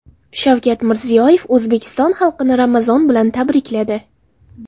Shavkat Mirziyoyev O‘zbekiston xalqini Ramazon bilan tabrikladi.